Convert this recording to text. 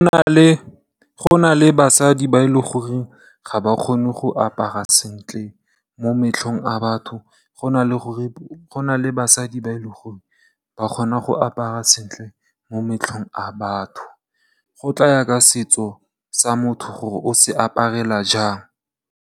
Go na le basadi ba e leng gore ga ba kgone go apara sentle mo matlhong a batho, go na le basadi ba e leng gore ba kgona go apara sentle mo matlhong a batho. Go tlaya ka setso sa motho gore o se aparela jang.